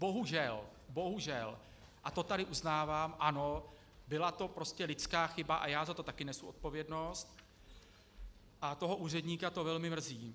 Bohužel, bohužel, a to tady uznávám, ano, byla to prostě lidská chyba a já za to taky nesu odpovědnost, a toho úředníka to velmi mrzí.